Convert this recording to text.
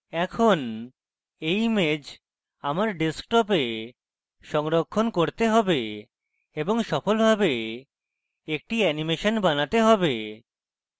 এখন এই image আমার ডেস্কটপে সংরক্ষণ করতে have এবং সফলভাবে একটি অ্যানিমেশন বানাতে have